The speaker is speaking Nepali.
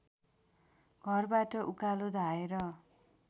घरबाट उकालो धाएर